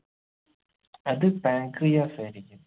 അത് pancreas ആയിരിക്കും